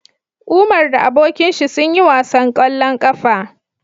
Umar da abokinshi sun yi wasan kwallo kafa